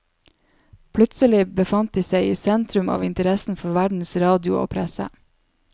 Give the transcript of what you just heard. Plutselig befant de seg i sentrum av interessen for verdens radio og presse.